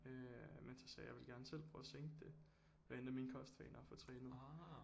Øh men så sagde jeg jeg vil gerne selv prøve at sænke det ved at ændre mine kostvaner og få trænet